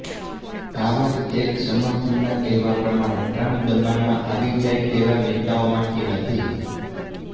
આવા જ એક સમર્થકના કહેવા પ્રમાણે ટ્રમ્પ દબાણમાં આવી જાય તેવા નેતાઓમાંથી નથી